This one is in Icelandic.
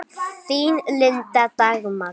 Þín, Linda Dagmar.